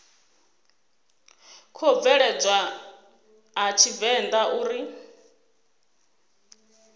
khou bveledzwa a tshivenḓa uri